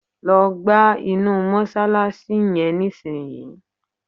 Lọ gbá inú mọ́ṣáláṣí yẹn nísìnyí!